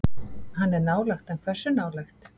Hann er nálægt en hversu nálægt?